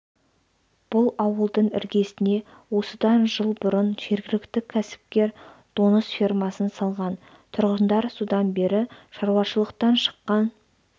бұл ауылдың іргесіне осыдан жыл бұрын жергілікті кәсіпкер доңыз фермасын салған тұрғындар содан бері шаруашылықтан шыққан